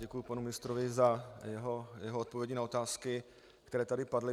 Děkuji panu ministrovi za jeho odpovědi na otázky, které tady padly.